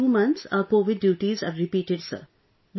Then after 2 months our Covid duties are repeated sir